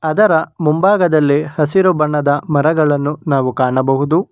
ಅದರ ಮುಂಭಾಗದಲ್ಲಿ ಹಸಿರು ಬಣ್ಣದ ಮರಗಳನ್ನು ನಾವು ಕಾಣಬಹುದು.